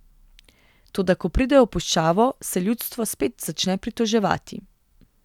Toda ko pridejo v puščavo, se ljudstvo spet začne pritoževati.